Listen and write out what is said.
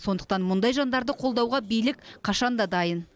сондықтан мұндай жандарды қолдауға билік қашан да дайын